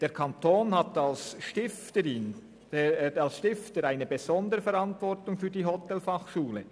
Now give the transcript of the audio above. Der Kanton trägt als Stifter eine besondere Verantwortung für die Hotelfachschule.